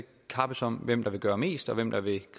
kappes om hvem der vil gøre mest hvem der vil